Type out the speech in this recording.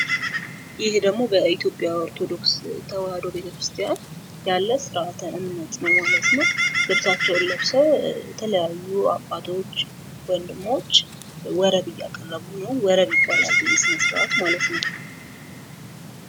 ይሄ ደግሞ በኢትዮጵያ ኦርቶዶክስ ተዋሕዶ ቤተክርስቲያን ያለ ስርአተ እምነት ነው ማለት ነው። ልብሳቸውን ለብሰው የተለያዩ አባቶች ወንድሞች ወረብ እያቀረቡ ነው። ወረብ ይባላል ይህ ስነስርዓት ማለት ነው።